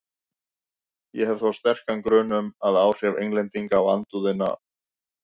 Ég hef þó sterkan grun um, að áhrif Englendinga og andúðina á